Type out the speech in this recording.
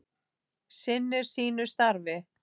Sinnir sínu starfi.